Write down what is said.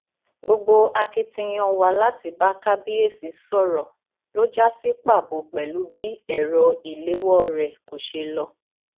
gbogbo akitiyan wa láti bá kábíyèsí sọrọ ló já sí pàbó pẹlú bí ẹrọ ìléwọ rẹ kò ṣe lọ